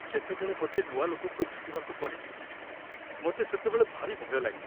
ଯେତେବେଳେ ମୋତେ ନୂଆ ଲୋକଙ୍କୁ ଭେଟିବାକୁ ପଡ଼େ, ମୋତେ ସେତେବେଳେ ଭାରି ଭୟ ଲାଗେ।